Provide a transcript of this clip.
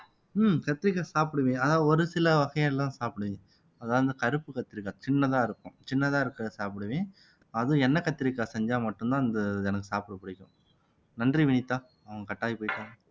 உம் கத்திரிக்காய் சாப்பிடுவேன் அதாவது ஒரு சில வகையெல்லாம் சாப்பிடுவேன் அதாவது இந்த கருப்பு கத்திரிக்காய் சின்னதா இருக்கும் சின்னதா இருக்கிறதை சாப்பிடுவேன் அதுவும் எண்ணெய் கத்திரிக்காய் செஞ்சா மட்டும்தான் இந்த இது எனக்கு சாப்பிட பிடிக்கும் நன்றி வினிதா அவ cut ஆகி போயிட்டா